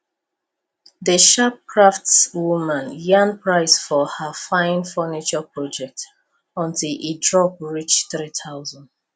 the sharp craftswoman yarn price for her fine furniture project until e drop reach 3000